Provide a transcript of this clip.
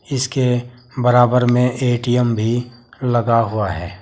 इसके बराबर में ए_टी_एम भी लगा हुआ है।